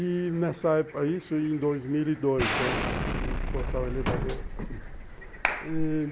E nessa época, isso em dois mil e dois, eu tive que botar o elevador e...